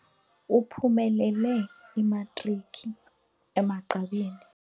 Uphumelele imatriki emagqabini.